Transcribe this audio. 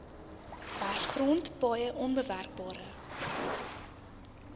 werfgrond paaie onbewerkbare